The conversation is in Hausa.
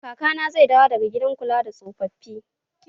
Kakana zai dawo daga gidan kula da tsofaffi